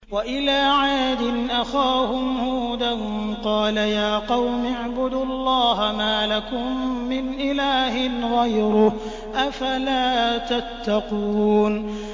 ۞ وَإِلَىٰ عَادٍ أَخَاهُمْ هُودًا ۗ قَالَ يَا قَوْمِ اعْبُدُوا اللَّهَ مَا لَكُم مِّنْ إِلَٰهٍ غَيْرُهُ ۚ أَفَلَا تَتَّقُونَ